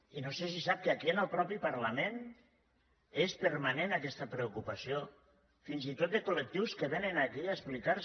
i no sé si sap que aquí en el mateix parlament és permanent aquesta preocupació fins i tot de collectius que vénen aquí a explicar se